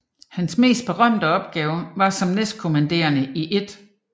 Hans mest berømte opgave var som næstkommanderende i 1